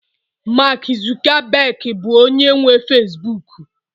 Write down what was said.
Mark Zuckerberg bụ onye nwe Facibụkụ